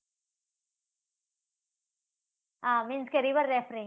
હા means કે river rafting